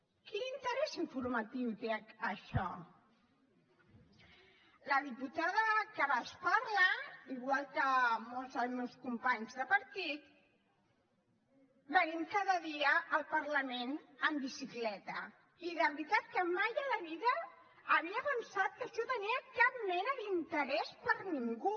quin interès informatiu té això la diputada que ara els parla igual que molts dels meus companys de partit venim cada dia al parlament en bicicleta i de veritat que mai a la vida havia pensat que això tenia cap mena d’interès per a ningú